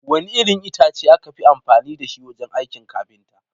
Wane irin itace aka fi amfani da shi wajen aikin kafinta?